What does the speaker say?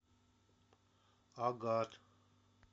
агат